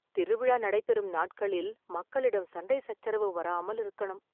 திருவிழா நடைபெறும் நாட்களில் மக்களிடம் சண்டை , சச்சரவு வராமல் இருக்கணும்